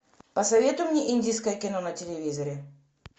посоветуй мне индийское кино на телевизоре